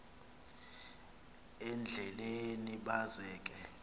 endleleni baza ke